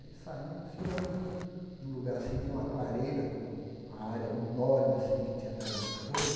Aí saímos, chegamos num num lugar assim, tinha uma clareira com a área enorme assim que tinha pegado fogo.